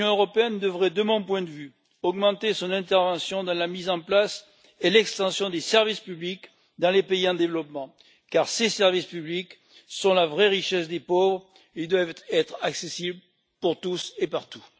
Elle devrait, de mon point de vue, augmenter son intervention dans la mise en place et l'extension des services publics dans les pays en développement, car ces services publics sont la vraie richesse des pauvres et doivent être accessibles pour tous et partout.